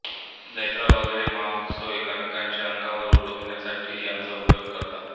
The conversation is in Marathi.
जत्रा वगैरे महोत्सवात एकमेकांच्या अंगावर उडविण्यासाठी याचा उपयोग करतात